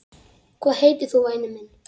Hvað heitir þú væni minn?